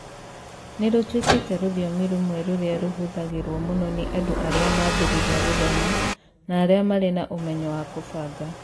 Nĩ rũtuĩkĩte rũthiomi rũmwe rũrĩa rũhũthagĩrũo mũno nĩ andũ arĩa mambĩrĩria gũthoma na arĩa marĩ na ũmenyo wa kũbanga